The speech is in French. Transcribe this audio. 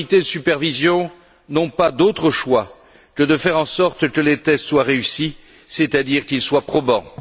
Les autorités de supervision n'ont pas d'autre choix que de faire en sorte que les tests soient réussis, c'est à dire qu'ils soient probants.